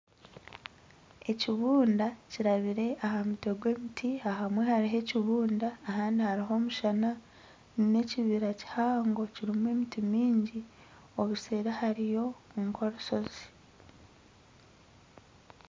Ekibunda kirabire ahamutwe gw'emiti ahamwe haruho ekibunda ahandi haruho omushana n'ekibira kihango kirumu emiti mingi obuseeri hariyo nk'orusozi.